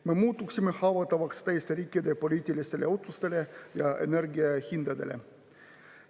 Me muutuksime haavatavaks teiste riikide poliitilistele otsustele ja energiahindadele.